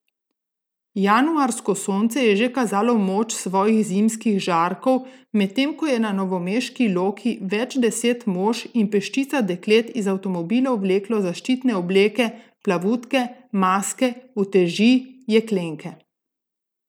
Januarsko sonce je že kazalo moč svojih zimskih žarkov, medtem ko je na novomeški Loki več deset mož in peščica deklet iz avtomobilov vleklo zaščitne obleke, plavutke, maske, uteži, jeklenke.